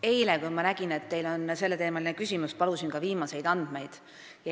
Eile, kui ma nägin, et teil on selleteemaline küsimus, palusin ka viimaseid andmeid.